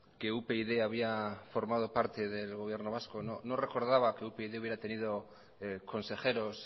que upyd había formado parte del gobierno vasco no recordaba que upyd hubiera tenido consejeros